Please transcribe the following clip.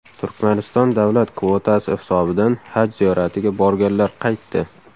Turkmanistonda davlat kvotasi hisobidan haj ziyoratiga borganlar qaytdi .